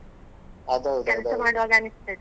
ಅದು ಹೌದು ಅದು.